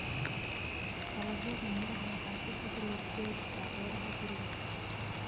Dalagyada miraha waxaa si fudud loogu beeri karaa beeraha guriga.